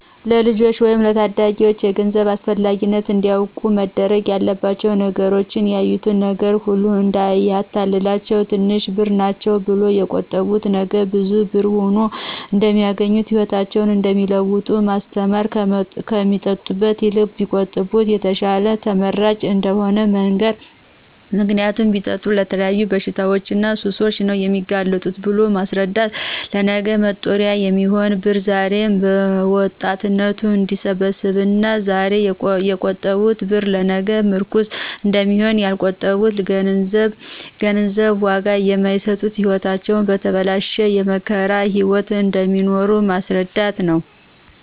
ለልጆች ወይም ለታዳጊዎች የገንዘብ አስፈላጊነት እንዲያውቁት መደረግ ያለባቸው ነገሮች ያዩት ነገር ሁሉ እዳያታልላቸው ትንሽ ብር ናቸው ብለው የቆጠቡት ነገ ብዙ ብር ሁኖ እደሚያገኙት ህይወታቸውን እደሚለውጠው ማስተማር ከሚጠጡበት ይልቅ ቢቆጥቡበት የተሻለና ተመራጭ እደሆነ መንገር ምክንያቱም ቢጠጡ ለተለያዩ በሽታዎችና ሱሶች ነው የሚጋለጡት ብሎ ማስረዳት ለነገ መጦሪያ የሚሆን ብር ዛሬ በወጣትነት እደሚሰበሰብና ዛሬ የቆጠቡት ብር ለነገ ምርኩዝ እደሚሆን ያልቆጠቡትና ለገንዘብ ዋጋ የማይሰጡት ህይወታቸው የተበላሸና የመከራ ህይዎት እደሚኖሩ በማስረዳት ነው።